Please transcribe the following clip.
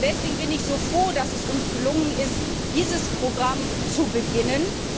Deswegen bin ich so froh, dass es uns gelungen ist, dieses Programm zu beginnen.